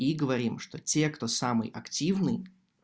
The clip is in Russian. и говорим что те кто самый активный